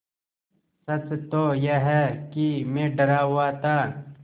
सच तो यह है कि मैं डरा हुआ था